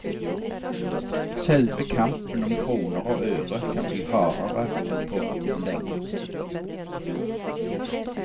Selve kampen om kroner og øre kan bli hardere enn på lenge.